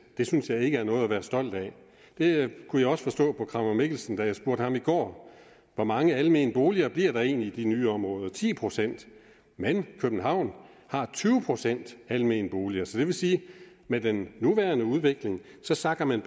det synes jeg ikke er noget at være stolt af det kunne jeg også forstå på kramer mikkelsen da jeg spurgte ham i går hvor mange almene boliger bliver der egentlig i de nye områder ti procent men københavn har tyve procent almene boliger så det vil sige at med den nuværende udvikling sakker man